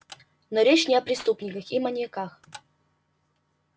но речь не о преступниках и маньяках